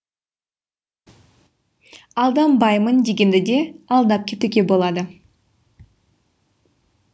алданбаймын дегенді де алдап кетуге болады